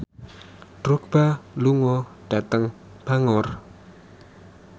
Drogba lunga dhateng Bangor